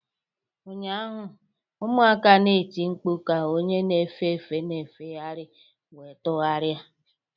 Ụnyaahụ, ụmụaka na-eti mkpu ka onye na-efe efe na-efegharị wee tụgharịa